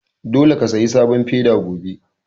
Dole ka saya sabon feda gobe!